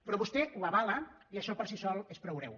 però vostè ho avala i això per si sol és prou greu